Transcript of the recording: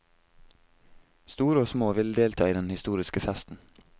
Store og små ville delta i den historiske festen.